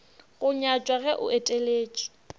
go nyatšwa ge o eteletše